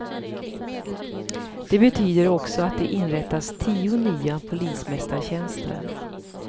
Den betyder också att det inrättas tio nya polismästartjänster.